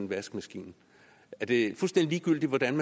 vaskemaskine er det fuldstændig ligegyldigt hvordan